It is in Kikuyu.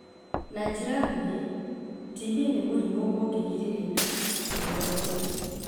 Na njĩra nguhĩ, TB nĩ mũrimũ ũngĩgirĩrĩka na ũthondekwo